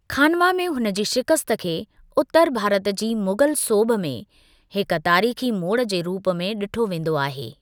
खानवा में हुन जी शिकस्त खे उत्तर भारत जी मुग़ल सोभ में हिकु तारीख़ी मोड़ जे रूप में ॾिठो वेंदो आहे।